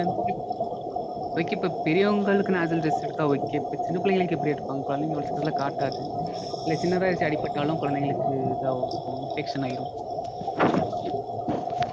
Okay okay இப்போ பெரியவங்களுக்கு nostril test எடுத்தா okay. இப்போ சின்ன பிள்ளைகளுக்கு எப்படி எடுப்பாங்க? கொழந்தைங்க அவ்ளோ சீக்கிரத்துல காட்டாது. இல்ல சின்னதா எடுத்து அடிபட்டாலும் கொழந்தைங்களுக்கு இதாவும் இப்போ infection ஆயிரும்